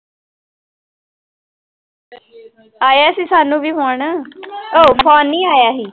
ਆਇਆ ਸੀ ਸਾਨੂੰ ਵੀ phone ਉਹ phone ਨੀ ਆਇਆ ਸੀ।